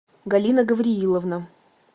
галина гаврииловна